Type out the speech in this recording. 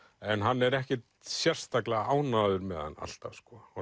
en hann er ekkert sérstaklega ánægður með hann alltaf